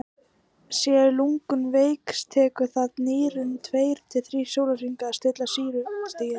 séu lungun veik tekur það nýrun tveir til þrír sólarhringa að stilla sýrustigið